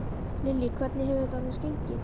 Lillý: Hvernig hefur þetta annars gengið?